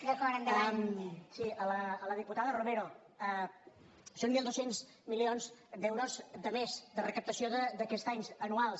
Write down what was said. sí a la diputada romero són mil dos cents milions d’euros de més de recaptació d’aquest any anuals